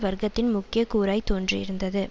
வர்க்கத்தின் முக்கிய கூறாய் தோன்றியிருந்தது